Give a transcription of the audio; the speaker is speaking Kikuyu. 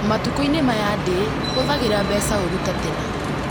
Matukũ-inĩ maya ndĩ hũthagĩra mbeca ũũru ta tene